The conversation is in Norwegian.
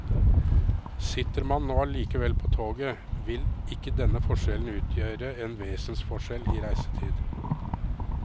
Sitter man nå likevel på toget, vil ikke denne forskjellen utgjøre en vesensforskjell i reisetid.